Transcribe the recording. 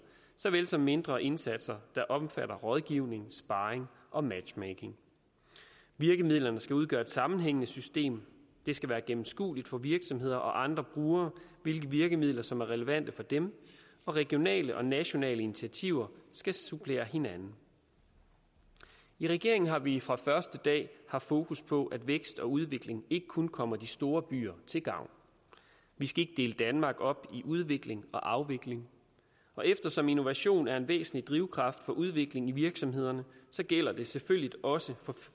såvel som mindre indsatser der omfatter rådgivning sparring og matchmaking virkemidlerne skal udgøre et sammenhængende system det skal være gennemskueligt for virksomheder og andre brugere hvilke virkemidler som er relevante for dem og regionale og nationale initiativer skal supplere hinanden i regeringen har vi fra første dag haft fokus på at vækst og udvikling ikke kun kommer de store byer til gavn vi skal ikke dele danmark op i udvikling og afvikling og eftersom innovation er en væsentlig drivkraft for udvikling i virksomhederne gælder det selvfølgelig også